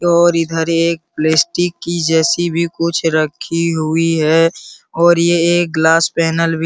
और इधर एक प्लेस्टिक की जैसी भी कुछ रखी हुई है और ये एक ग्लास पैनल भी --